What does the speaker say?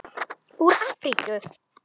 Úr Afríku!